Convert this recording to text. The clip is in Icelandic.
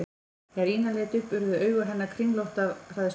Þegar Ína leit upp urðu augu hennar kringlótt af hræðslu.